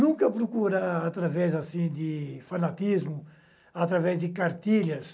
Nunca procurar através assim de fanatismo, através de cartilhas,